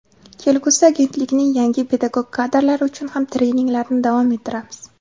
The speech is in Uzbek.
Kelgusida Agentlikning yangi pedagog kadrlari uchun ham treninglarni davom ettiramiz.